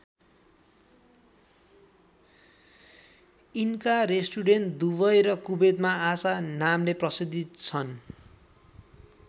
यिनको restaurant Dubai र कुवेतमा आशा नामले प्रसिद्ध छन्।